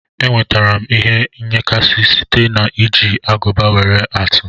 Enwetara m ihe nyakashi site na iji aguba nwere atụ.